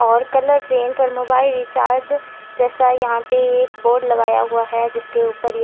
और colour print और mobile recharge जैसा यहाँ पे एक बोर्ड लगाया हुआ है जिसके ऊपर ये--